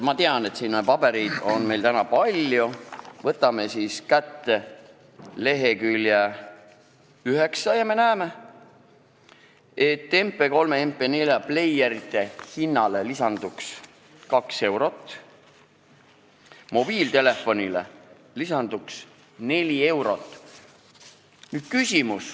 Ma tean, et pabereid on meil täna palju, aga võtame ette lehekülje 9 ja me näeme, et MP3- ja MP4-pleierite hinnale lisanduks 2 eurot, mobiiltelefoni omale aga 4 eurot.